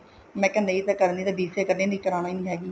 ਮੈਂ ਕਿਹਾ ਨਹੀਂ ਮੈਂ BCA ਕਰਨੀ ਹੈ ਨਹੀਂ ਫ਼ੇਰ ਕਰਾਉਣੀ ਨੀ ਹੈਗੀ